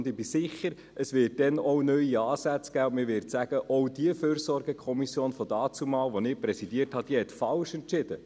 » Ich bin mir sicher, es wird dann auch neue Ansätze geben, und man wird sagen: «Auch diese Fürsorgekommission», von damals, die ich präsidiert habe, «diese hat falsch entschieden.